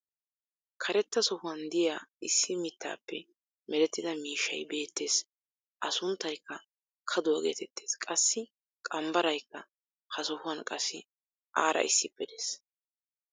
karetta sohuwan diya issi mitaappe merettida miishshay beetees. a sunttaykka kaduwa geetettees. qassi qambbaraykka ha sohuwan qassi aara issippe des.